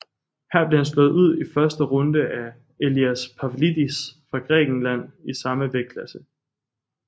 Her blev han slået ud i første runde af Elias Pavlidis fra Grækenland i samme vægtklasse